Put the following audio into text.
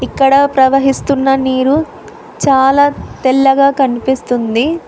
ఇక్కడ ప్రవహిస్తున్న నీరు చాలా తెల్లగా కనిపిస్తుంది.